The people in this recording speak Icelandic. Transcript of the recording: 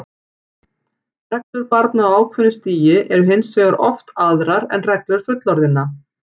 Reglur barna á ákveðnu stigi eru hins vegar oft aðrar en reglur fullorðinna.